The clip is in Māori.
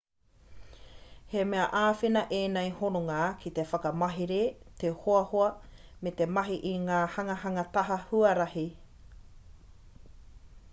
he mea āwhina ēnei hononga ki te whakamahere te hoahoa me te mahi i ngā hanganga taha huarahi